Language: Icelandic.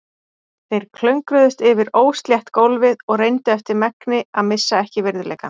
Þeir klöngruðust yfir óslétt gólfið og reyndu eftir megni að missa ekki virðuleikann.